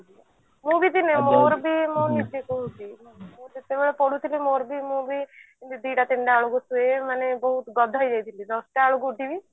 ମୁଁ ବି ଦିନେ ମୋର ମୁଁ ନିଜେ କହୁଛି ମୁଁ ଯେତେବେଳେ ପଢୁଥିଲି ମୋର ବି ମୁଁ ବି ଦିଟା ତିନିଟା ବେଳକୁ ଶୁଏ ମାନେ ବହୁତ ଗଧ ହେଇ ଯାଇଥିଲି ଦଶଟା ବେଳକୁ ଉଠିବି